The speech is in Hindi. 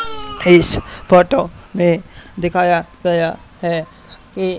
इस फोटो में दिखाया गया हैं कि--